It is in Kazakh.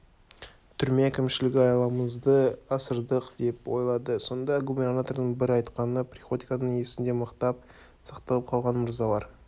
түрме әкімшілігі айламызды асырдық деп ойлады сонда губернатордың бір айтқаны приходьконың есінде мықтап сақталып қалған мырзалар